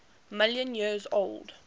million years old